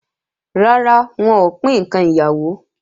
Rara, wọn ò pín ǹkan ìyàwó